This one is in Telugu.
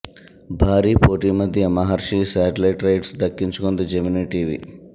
భారీ పోటీ మధ్య మహర్షి శాటిలైట్ రైట్స్ దక్కించుకుంది జెమినీ టీవీ